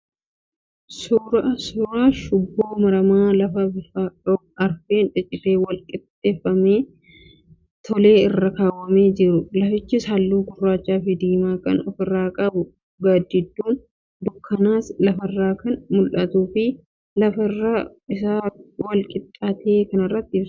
Suuraa shuboo maramaa lafa bifa rog-arfeen ciccitee wal-qixxeeffame tole irra kaawwamee jiru, lafichis halluu gurraachaa fi diimaa kan ofirraa qabu, gaaddidduun dukkanaas lafarraan kan mul'atuu fi lafa irri isaa wal-qixxaate kanarrattis ibsaan kan ifaa jirudha.